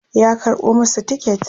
ya karɓo masu tiket